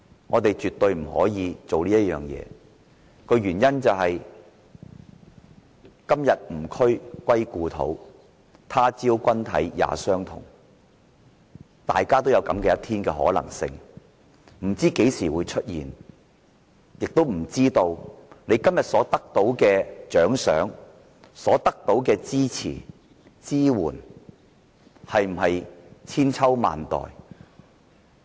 我們絕對不可以做這種事，原因是"今夕吾軀歸故土，他朝君體也相同"，大家也可能有這樣的一天，不知何時會出現，亦不知道今天所得到的獎賞、支持和支援是否千秋萬代。